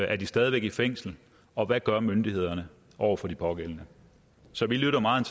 er de stadig væk i fængsel og hvad gør myndighederne over for de pågældende så vi lytter meget